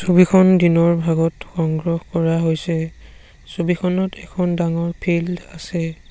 ছবিখন দিনৰ ভাগত সংগ্ৰহ কৰা হৈছে ছবিখনত এখন ডাঙৰ ফিল্ড আছে।